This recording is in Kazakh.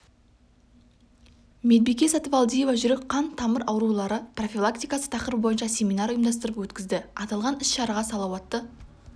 медбике сатыбалдиева жүрек қан тамыр аурулары профилактикасы тақырыбы бойынша семинар ұйымдастырып өткізді аталған іс-шараға салауатты